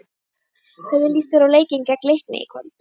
Hvernig líst þér á leikinn gegn Leikni í kvöld?